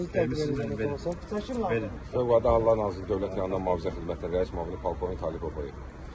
Özü təbii ki Fövqəladə Hallar Nazirliyinin dövlət yanğından mühafizə xidmətinin rəis müavini polkovnik Tahir Həsənov.